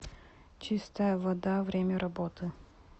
чистая вода время работы